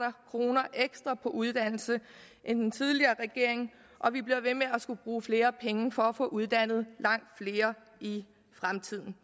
kroner ekstra på uddannelse end den tidligere regering og vi bliver ved med at skulle bruge flere penge for at få uddannet langt flere i fremtiden